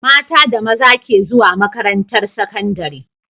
Mata da maza ke zuwa makaran tar sakandari